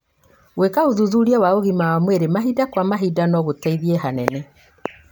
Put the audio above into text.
Gwĩka ũthuthuria wa ũgima wa mwĩrĩ mahinda kwa mahinda no gũteithie hanene.